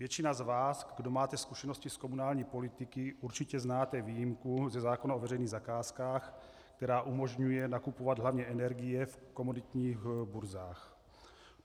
Většina z vás, kdo máte zkušenosti s komunální politikou, určitě znáte výjimku ze zákona o veřejných zakázkách, která umožňuje nakupovat hlavně energie v komoditních burzách.